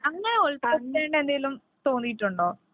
അങ്ങനെ എന്തെങ്കിലും തോന്നിയിട്ട് ഉണ്ടോ?